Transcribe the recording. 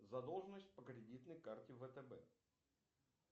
задолженность по кредитной карте втб